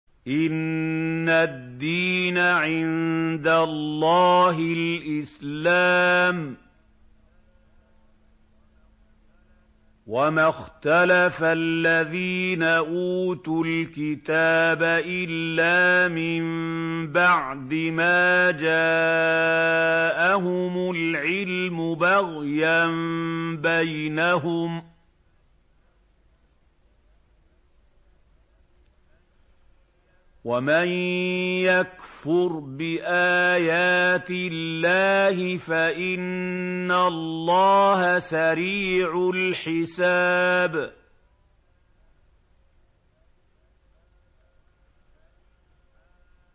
إِنَّ الدِّينَ عِندَ اللَّهِ الْإِسْلَامُ ۗ وَمَا اخْتَلَفَ الَّذِينَ أُوتُوا الْكِتَابَ إِلَّا مِن بَعْدِ مَا جَاءَهُمُ الْعِلْمُ بَغْيًا بَيْنَهُمْ ۗ وَمَن يَكْفُرْ بِآيَاتِ اللَّهِ فَإِنَّ اللَّهَ سَرِيعُ الْحِسَابِ